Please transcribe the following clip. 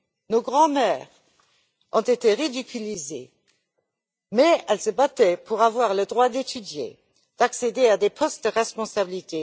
Nos grands mères ont été ridiculisées, mais elles se battaient pour avoir le droit d'étudier, d'accéder à des postes de responsabilité.